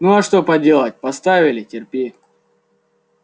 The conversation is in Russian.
ну а что поделать поставили терпи